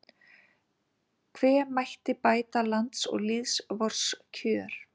Hve mætti bæta lands og lýðs vors kjör